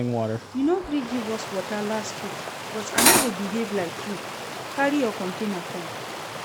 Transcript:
You no gree give us water last week but I no go behave like you. Carry your container come.